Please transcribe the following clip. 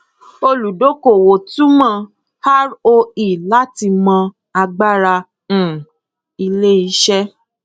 olùdókòwò túmọ roe láti mọ agbára um iléiṣẹ